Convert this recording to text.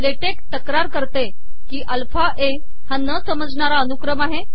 LaTeX तकार करते की अलफा ए हा न समजणारा अनुकम आहे